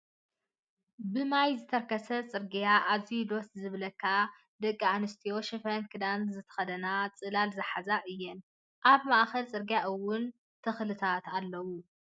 ብማይ ዝተርከሰ ፅርግያ ኣዝዩ ድስ ዝብለካን ደቂ ኣንስትዮ ሽፈን ክዳን ዝተከደነ ፅላል ዝሓዛን እየን። ኣብ ማእከል ፅርግያ እውን ተክልታት ኣለው።